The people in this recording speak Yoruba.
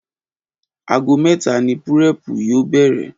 Aago mé̩ta ni púré̩è̩pù yóò bè̩rè̩